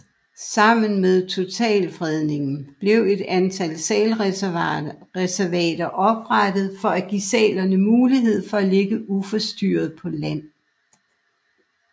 Sammen med totalfredningen blev et antal sælreservater oprettet for at give sælerne mulighed for at ligge uforstyrret på land